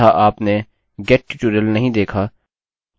मुझे postphp नामक एक नई फाइल मिल गई है